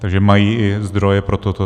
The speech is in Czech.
Takže mají i zdroje pro toto.